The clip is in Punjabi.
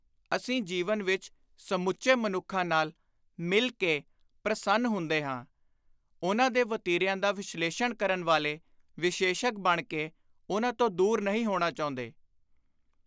ਅਸੀਂ ਜੀਵਨ ਵਿਚ ਸਮੁੱਚੇ ਮਨੁੱਖਾਂ ਨਾਲ ਮਿਲ ਕੇ ਪ੍ਰਸੰਨ ਹੁੰਦੇ ਹਾਂ; ਉਨ੍ਹਾਂ ਦੇ ਵਤੀਰਿਆਂ ਦਾ ਵਿਸ਼ਲੇਸ਼ਣ ਕਰਨ ਵਾਲੇ ਵਿਸ਼ੇਸ਼ੱਗ ਬਣ ਕੇ ਉਨ੍ਹਾਂ ਤੋਂ ਦੁਰ ਨਹੀਂ ਹੋਣਾ ਚਾਹੁੰਦੇ।